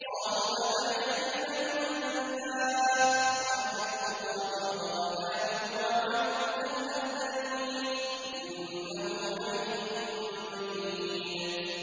قَالُوا أَتَعْجَبِينَ مِنْ أَمْرِ اللَّهِ ۖ رَحْمَتُ اللَّهِ وَبَرَكَاتُهُ عَلَيْكُمْ أَهْلَ الْبَيْتِ ۚ إِنَّهُ حَمِيدٌ مَّجِيدٌ